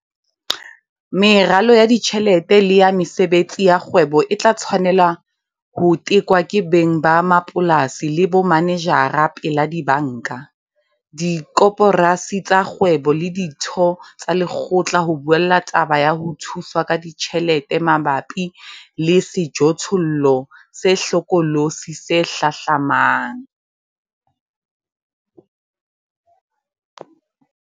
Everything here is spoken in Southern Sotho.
Meralo ya ditjhelete le ya mesebetsi ya kgwebo e tla tshwanela ho tekwa ke beng ba mapolasi le bomanejara pela dibanka, dikoporasi tsa kgwebo le ditho tsa lekgotla ho buella taba ya ho thuswa ka ditjhelete mabapi le sejothollo se hlokolosi se hlahlamang.